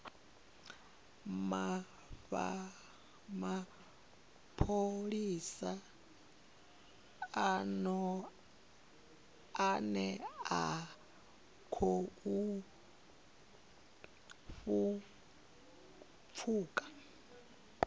mapholisa ane a khou pfuka